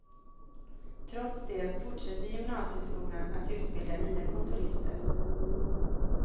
Trots det fortsätter gymnasieskolan att utbilda nya kontorister.